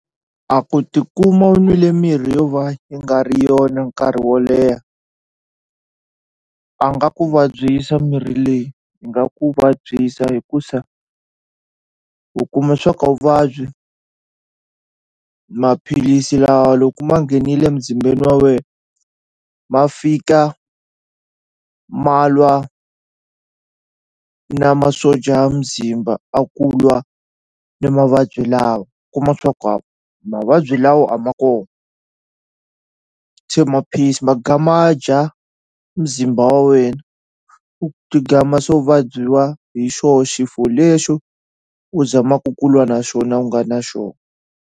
A ku tikuma u n'wile mirhi yo va yi nga ri yona nkarhi wo leha a nga ku vabyisa mirhi leyi yi nga ku vabyisa hikusa u kuma swa ku a wu vabyi maphilisi lawa loku ma nghenile muzimbeni wa wena ma fika ma lwa na masocha ya muzimba a ku lwa ni mavabyi lawa kuma swa ku mavabyi lawa a ma kona se ma piece ma ga ma dya muzimba wa wena u ti gama se u vabyiwa hi xoho xifo lexo u zamaku ku lwa na xona u nga na xona.